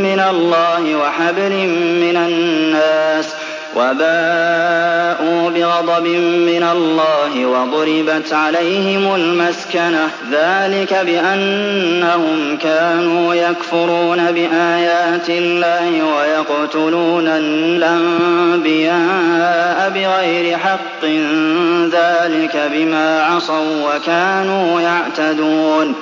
مِّنَ اللَّهِ وَحَبْلٍ مِّنَ النَّاسِ وَبَاءُوا بِغَضَبٍ مِّنَ اللَّهِ وَضُرِبَتْ عَلَيْهِمُ الْمَسْكَنَةُ ۚ ذَٰلِكَ بِأَنَّهُمْ كَانُوا يَكْفُرُونَ بِآيَاتِ اللَّهِ وَيَقْتُلُونَ الْأَنبِيَاءَ بِغَيْرِ حَقٍّ ۚ ذَٰلِكَ بِمَا عَصَوا وَّكَانُوا يَعْتَدُونَ